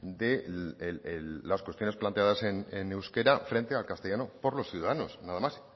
de las cuestiones planteadas en euskera frente al castellano por los ciudadanos nada más